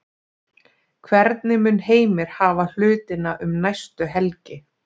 Hvernig mun Heimir hafa hlutina um næstu helgi?